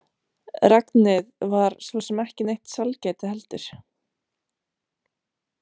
Regnið var svo sem ekki neitt sælgæti heldur.